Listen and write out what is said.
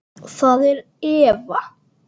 Það er Eva.